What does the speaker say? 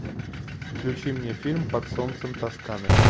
включи мне фильм под солнцем тосканы